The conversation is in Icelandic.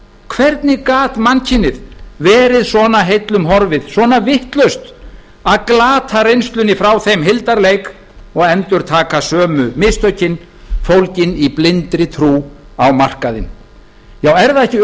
hvernig gat mannkynið verið svona heillum horfið svona vitlaust að glata reynslunni frá þeim hildarleik og endurtaka sömu mistökin fólgin í blindri trú á markaðinn já er það ekki